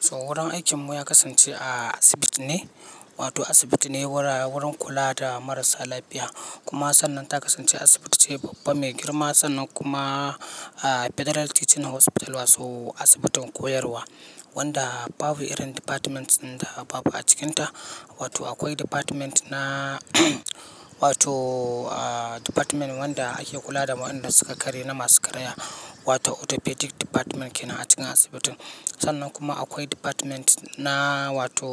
So wurin aikinmu ya kasance a asibiti ne, wato asibiti ne wurin kula da marasa lafiya. Kuma sannan ta kasance asibiti ce babba mai girma sannan kuma a Federal Teaching Hospital wato asibitin koyarwa wanda babu irin departments din da babu a cikinta. Wato akwai department na wato department wanda ake kula da waɗanda suka karye na masu karaya wato orthopedic department ke nan a cikin asibitin. Sannan kuma akwai department na wato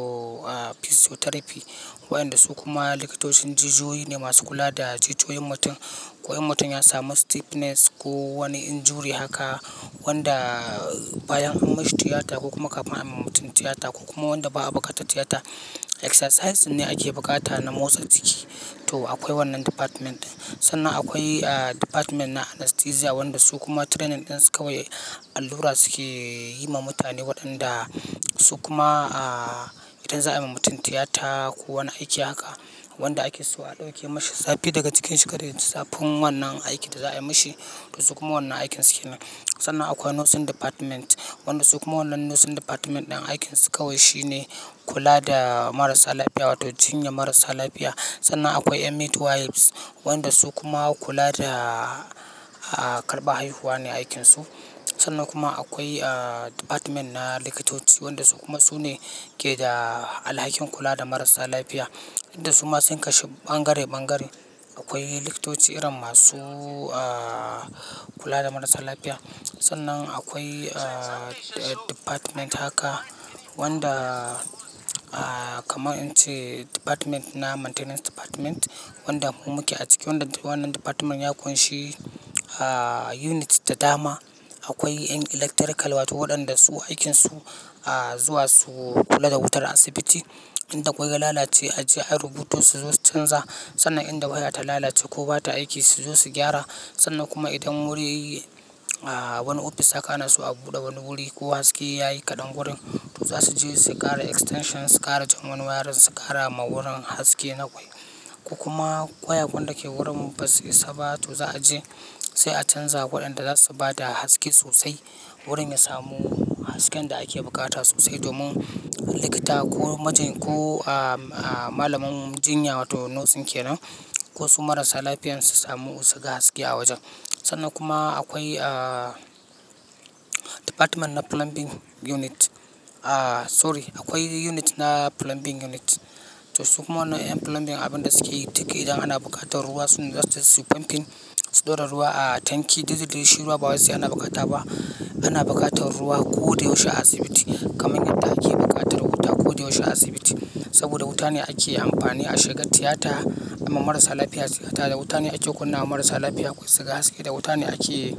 physiotherapy waɗanda su kuma likitocin jijiyoyi ne masu kula da jijiyoyin mutum. Ko in mutum ya samu stiffness ko wani injury haka wanda bayan an mishi tiyata ko kuma kamin a ma mutum tiyata ko kuma wanda ba a bukatar tiyata exercises ne ake bukata na motsa jiki to akwai wannan department. Sannan akwai department na anesthesia waɗanda su kuma training ɗin su kawai allura suke yi ma mutane waɗanda su kuma a idan za a yi ma mutum tiyata ko wani aiki haka wanda ake so a ɗauke mashi zafi daga cikinsa kada yaji. Zafin wannan aikin da za a yi mashi to su kuma wannan aikin su ke nan. Sannan akwai nursing department waɗanda su kuma wannan nursing department ɗin aikin su kawai shine kula da marasa lafiya wato jinya marasa lafiya. Sannan akwai midwives waɗanda su kuma kula da a karɓar haihuwa ne aikin su. Sannan kuma akwai department na likitoci waɗanda su kuma su ne ke da alhakin kula da marasa lafiya. Dukda suma sun kashu ɓangare-ɓangare akwai likitoci irin masu kula da marasa lafiya. Sannan akwai department haka wanda kamar in ce department na maintenance department wanda mu muke a ciki wanda wannan department ya ƙunshi unit da dama. Akwai ƴan electrical wato waɗanda su aikin su zuwa su kula da wutar asibiti. Inda kwai ya lalace a je a yi rubutun su zo su canza. Sannan inda waya ta lalace ko bata aiki su zo su gyara. Sannan kuma idan wuri a wani ofis aka nasu a buɗe wani wuri ko haske ya yi kaɗan wurin to za su je su ƙara extension su kara zaman wayarin su kara ma wurin haske na ƙwai. Kuma ƙwaya-ƙwan da ke wurin ba su isa ba to za a je sai a canza waɗanda za su ba da haske sosai wurin ya samu hasken da ake bukata sosai domin likita ko majiny ko malamin jinya wato nurse kenan ko su marasa lafiyar su samu wasu ga haske a wajen. Sannan kuma akwai department na plumbing unit. Sorry, akwai unit na plumbing unit. To su kuma wannan ƴan plumbing abin da suke yi duk idan ana buƙatar ruwa sune zasu tai suyi pumping su ɗora ruwa a tanki. Dukda dai shi ruwa ba wai sai ana bukata ba. Ana buƙatar ruwa ko da yaushe a asibiti kamar yadda ake buƙatar wuta ko da yaushe a asibiti. Saboda wuta ne ake amfani a shiga tiyata, a ma marasa lafiya sigata da wuta ne ake kunna wa marasa lafiya wasu ga haske, da wuta ne ake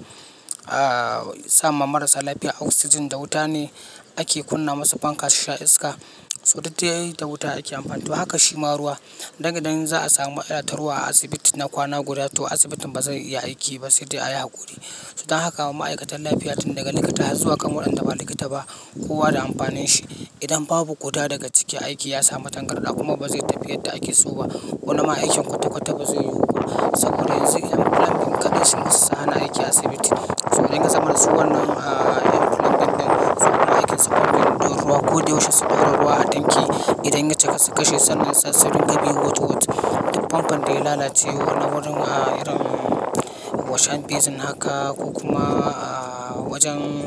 a sama marasa lafiya oxygen, da wuta ne ake kunna masu fanka su sha iska. So duk dai da wuta ake amfani to haka shi ma ruwa. Idan za a samu matsala ta ruwa a asibiti na kwana guda to asibitin ba zai iya aiki ba sai dai a yi hakuri. Su dan haka ma ma'aikatan lafiya tun daga likita har zuwa kamar wanda ba likita ba kowa da amfanin shi. Idan babu guda daga ciki aiki ya samu tangarɗa kuma bazai tafi yadda ake so ba. Wani ma aikin kwata-kwata ba zai yiwu ba. Saboda yanzu ƴan plumbing kaɗai sun isa su hana aiki a asibiti. Ruwa ko da yaushe a tanki idan ya cika su kashe shi duk famfon da ya lalace na wurin a irin washing basin haka ko kuma a wajen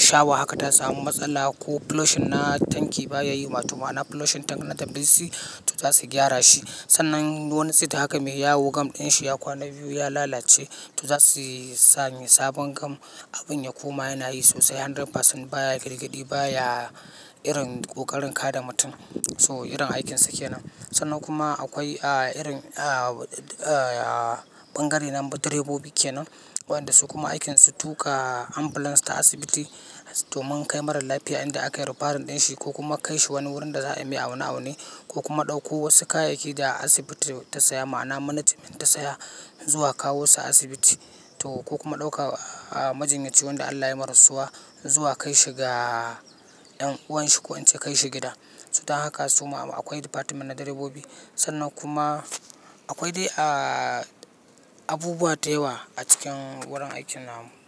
shawa haka ta samu matsala ko plosion na tanki ba ya yi wato ma'ama plosion tank na dam dinsu to za su gyara shi. Sannan duk wani sit haka me yawo gam ɗin shi ya kwana biyu ya lalace to za su samar sabon gam abin ya koma yana yi sosai 100% baya girgidi baya irin ƙoƙarin kada mutum so irin aikin su ke nan. Sannan kuma akwai ah irin ah bangaren direbobi kenan wandan da su kuma aikin su sutuka ambulas ta asibiti domin kai marar lafiya inda aka yi referral ɗin shi ko kuma kai shi wani wurin da za a yi mai aune aune ko kuma ɗauko wasu kayayyaki da asibiti ta saya ma'ana management ta saya zuwa kawo su asibiti to ko kuma ɗauka majinyaci wanda Allah ya yi marasuwa zuwa kai shi ga ɗan uwan shi ko in ce akaishi gida. So dan haka su kuma akwai department na direbobi. Sannan kuma akwai dai abubuwa da yawa a cikin wurin aikin namu.